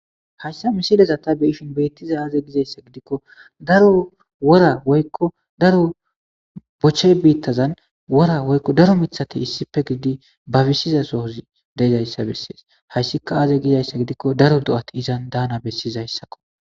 Hayssa misileza tha be7ishin beeththiza aazee dizayssa giikko daro wora woykko daro boche biiththazan wora woykko daro miththathi issippe gididi barishida sohozi dezayssa bessees; hayssikka aazee gizayssa gidikko daro do7aathi izan daanazayssakko.